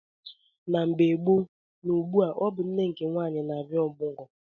Na mgbe gboo na ugbua ọ bụ nne nke nwaanyị na abịa omugwo